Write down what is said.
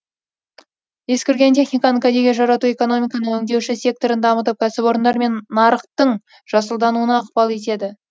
ескірген техниканы кәдеге жарату экономиканың өңдеуші секторын дамытып кәсіпорындар мен нарықтың жасылдануына ықпал етеді